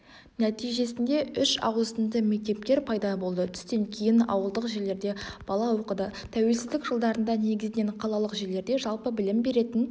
нәтежесінде үш ауысымды мектептер пайда болды түстен кейін ауылдық жерлерде бала оқыдытәуелсіздік жылдарында негізінен қалалық жерлерде жалпы білім беретін